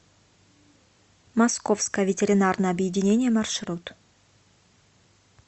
московское ветеринарное объединение маршрут